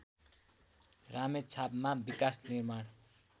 रामेछापमा विकासनिर्माण